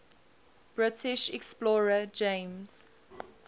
british explorer james